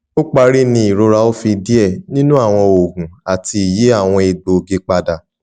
o pari ni irora o fi diẹ ninu awọn oogun ati yi awọn egboogi pada